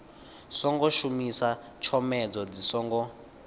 songo shumisa tshomedzo dzi songo